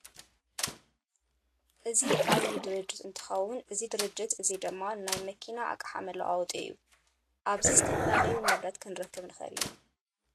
እዚ ዓብይ ድርጅት እንትከውን እዚ ድርጅት እዚ ድማ ናየ መኪና ኣቅሓ መለዋወጢ እዩ ። ኣብዚ ዝተፈላለዩ ነብረት ክንረክብ ንክእል ኢና ።